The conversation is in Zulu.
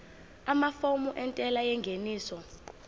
amafomu entela yengeniso